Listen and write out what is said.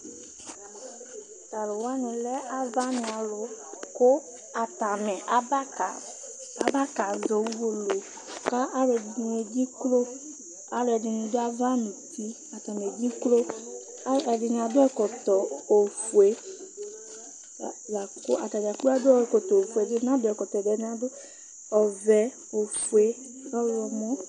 T'aluwani lɛ avanìalu, ku atani aba ka zɔ uwolowu, k'aluɛdini edziklo, aluɛdini dù ava nu uti atani edziklo, aluɛdini adu ɛkɔtɔ ofue la ku atanidzakplo adu ɛkɔtɔ ofue, ɛdini n'adu ɛkɔtɔ, ɛdini adu ɔvɛ, ofue, ɔwlɔmɔ